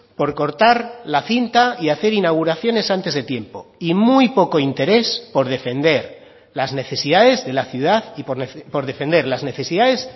por cortar la cinta y hacer inauguraciones antes de tiempo y muy poco interés por defender las necesidades de la ciudad y por defender las necesidades